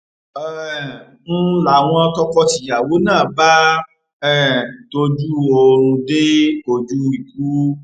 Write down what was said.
um ń láwọn tọkọtìyàwó náà bá um tọjú oorun dé ojú ikú